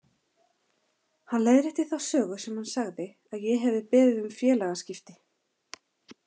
Hann leiðrétti þá sögu sem hann sagði að ég hefði beðið um félagaskipti.